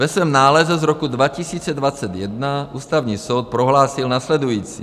Ve svém nálezu z roku 2021 Ústavní soud prohlásil následující.